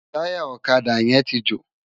Tàyá òkadá yèn n jó